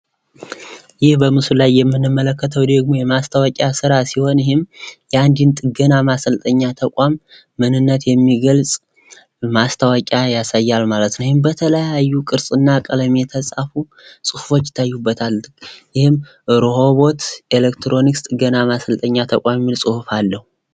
ይህ በምስሉ ላይ የምንመለከተው ደግሞ የማስታወቂያ ስራ ሲሆን ይህም የአንድን ጥገና ማሰልጠኛ ተቋም ምንነት የሚገልፅ ማስታወቂያ ያሳያል ማለት ነው። ይህም በተለያዩ ቅርፅና ቀለማት የተፃፉ ፅሁፎች ይታዩበታል። ይህም ርኖቦት ኤሌክትሮኒክስ ጥገና ማሰልጠኛ ተቋም የሚል አለው።